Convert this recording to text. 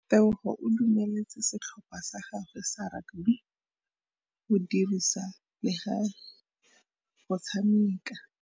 Tebogô o dumeletse setlhopha sa gagwe sa rakabi go dirisa le galê go tshameka.